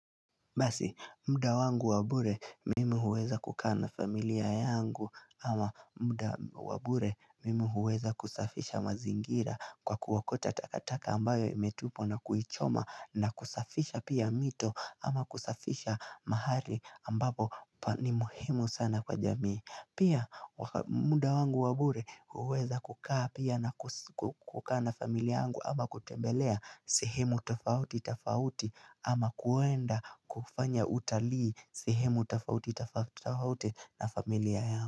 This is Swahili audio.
Basi muda wangu wa bure mimi huweza kukaa na familia yangu ama muda wa bure mimi huweza kusafisha mazingira kwa kuokota takataka ambayo imetupwa na kuichoma na kusafisha pia mito ama kusafisha mahali ambapo ni muhimu sana kwa jamii. Pia muda wangu wa bure huweza kukaa pia na kukaa na familia yangu ama kutembelea sehemu tofauti tofauti ama kuenda kufanya utalii sehemu tofauti tofauti na familia yangu.